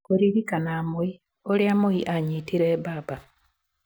Kũririkana Moi: 'Ũrĩa Moi anyitire baba'